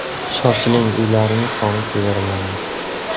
Shoshiling uylarimiz soni chegaralangan.